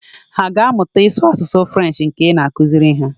Hà aga amụta ịsụ asụsụ Frenshi nke ị na-akụziri ha.